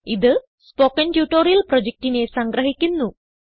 ഇത് spoken tutorial പ്രൊജക്റ്റിനെ സംഗ്രഹിക്കുന്നു